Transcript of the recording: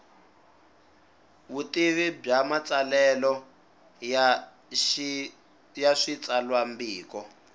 vutivi bya matsalelo ya switsalwambiko